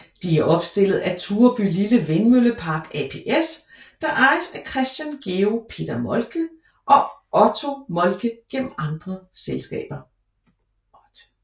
De er opstillet af Turebylille Vindmøllepark ApS der ejes af Christian Georg Peter Moltke og Otte Moltke gennem andre selskaber